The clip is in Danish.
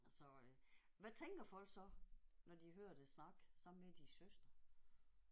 Så øh hvad tænker folk så når de hører dig snakke sammen med din søster?